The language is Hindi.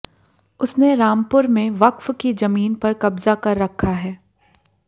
उसने रामपुर में वक्फ की जमीन पर कब्जा कर रखा है